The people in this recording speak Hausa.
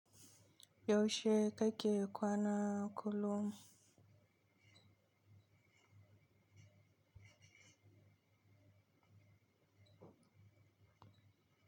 Yaushe kake kwana kullum?